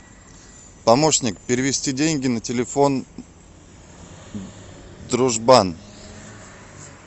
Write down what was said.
помощник перевести деньги на телефон дружбан